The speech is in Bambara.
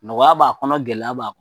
Nɔgɔya b'a kɔnɔ gɛlɛya b'a